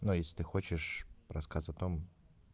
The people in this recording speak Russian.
но если ты хочешь рассказ о том